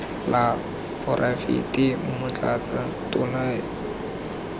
la poraefete motlatsa tona de